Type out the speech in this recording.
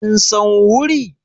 Kin san wuri?